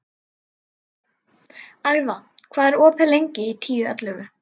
Agða, hvað er opið lengi í Tíu ellefu?